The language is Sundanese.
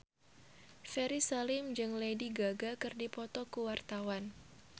Ferry Salim jeung Lady Gaga keur dipoto ku wartawan